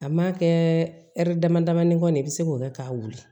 A ma kɛ ɛri damadamanin kɔnɔ de i bɛ se k'o kɛ k'a wuli